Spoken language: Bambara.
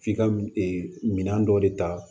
F'i ka minan dɔ de ta